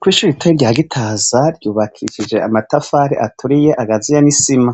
Ku ishuri ritoyi rya gitaza ryubakishije amatafari aturiye agazuye n'isima